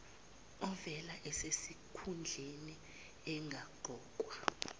ovele esesikhundleni engaqokwa